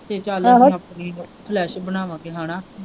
ਫੇਰ ਚੱਲ ਆਪਣੀ ਫਲਸ਼ ਬਣਾਵਾਂਗੇ ਹਣਾ।